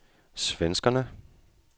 svenskerne